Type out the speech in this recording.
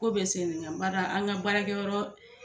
Ko bɛ bada an ka baarakɛ yɔrɔ